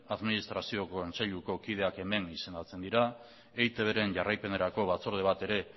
administrazioko kontseiluko kideak hemen izendatzen dira eitbren jarraipenerako batzorde bat ere